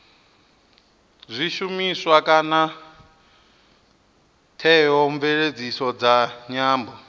zwishumiswa kana theomveledziso dza nyambo